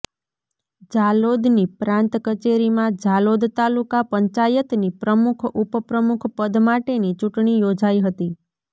ઝાલોદની પ્રાંત કચેરીમાં ઝાલોદ તાલુકા પંચાયતની પ્રમુખ ઉપ પ્રમુખ પદ માટેની ચૂંટણી યોજાઇ હતી